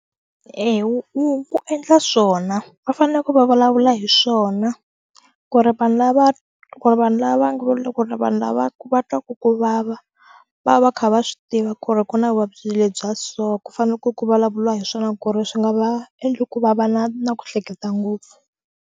Eya, wu endla swona va fanele ku va vulavula hi swona ku ri vanhu lava vanhu lava nga va loko vanhu lava va twa ku vava va va va kha va swi tiva ku ri ku na vuvabyi lebyi bya so ku fanele ku ku vulavuliwa hi swona ku ri swi nga va endla ku va va na na ku hleketa ngopfu.